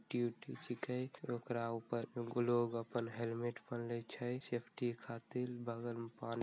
छीके ओकरा ऊपर लोग अपन हेलमेट पहनले छै सैफ्टी खातिर बगल में पानी --